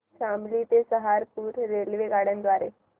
शामली ते सहारनपुर रेल्वेगाड्यां द्वारे